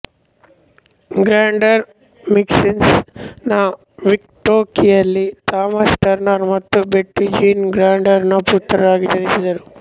Gardner Wisconsin ನ ಮಿಲ್ವೊಕೀಯಲ್ಲಿ Thomas Turner ಮತ್ತು ಬೆಟ್ಟಿ ಜೀನ್ ಗಾರ್ಡ್ನರ್ ರ ಪುತ್ರರಾಗಿ ಜನಿಸಿದರು